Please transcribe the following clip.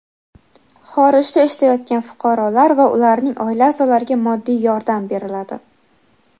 Xorijda ishlayotgan fuqarolar va ularning oila a’zolariga moddiy yordam beriladi.